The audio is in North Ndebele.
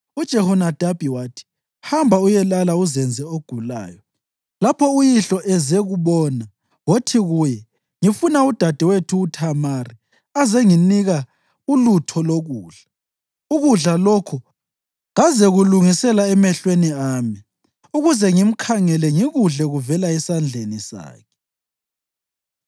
UJehonadabi wathi, “Hamba uyelala uzenze ogulayo. Lapho uyihlo ezekubona, wothi kuye, ‘Ngifuna udadewethu uThamari azenginika ulutho lokudla. Ukudla lokho kazekulungisela emehlweni ami, ukuze ngimkhangele ngikudle kuvela esandleni sakhe.’ ”